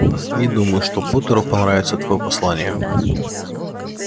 не думаю что поттеру понравится твоё послание